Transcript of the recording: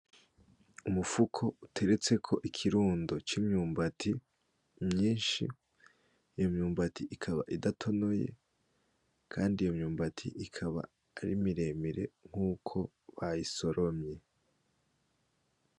Umufuko uteretseko ikirundo c’imyumbati myishi ,iyo myumbati ikaba idatonoye , kandi iyo myumbati ikaba ari miremire nkuko bayisoromye.